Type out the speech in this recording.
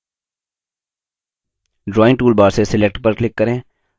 drawing toolbar से select पर click करें